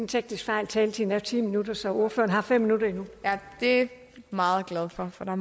teknisk fejl taletiden er ti minutter så ordføreren har fem minutter endnu det er jeg meget glad for for der